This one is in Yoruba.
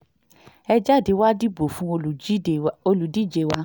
ẹ jáde wàá dìbò fún olùdíje wa